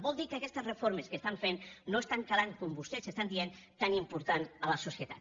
vol dir que aquestes reformes que fan no estan calant com vostès diuen tan important a la societat